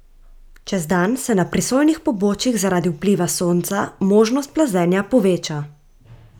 Čez dan se na prisojnih pobočjih zaradi vpliva sonca možnost plazenja poveča.